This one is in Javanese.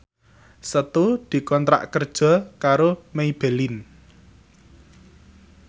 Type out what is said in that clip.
Setu dikontrak kerja karo Maybelline